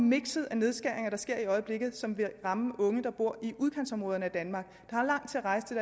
mikset af nedskæringer der sker i øjeblikket som vil ramme unge der bor i udkantsområderne af danmark